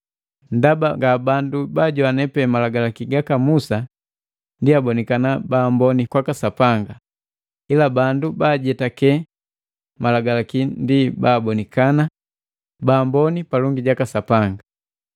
Ndaba nga bandu baajogwane pe Malagalaki gaka Musa ndi abonekana baamboni kwaka Sapanga, ila bandu baajetake Malagalaki ndi babibonikana baamboni palongi jaka Sapanga.